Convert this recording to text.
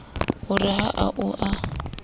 ho re ha o a